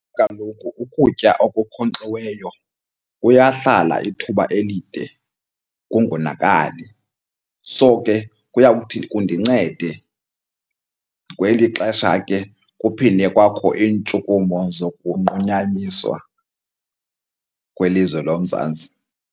Kaloku ukutya okunkonkxiweyo kuyahlala ithuba elide kungonakali. So ke kuyawuthi kundincede kweli xesha ke kuphinde kwakho iintshukumo zokunqunyanyiswa kwelizwe loMzantsi.